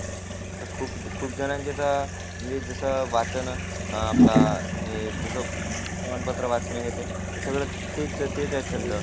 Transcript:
आता तर खूप जणांचे तर म्हणजे जस वाचन, वर्तमान पत्र वाचणे हे ते तेच आहेत छंद.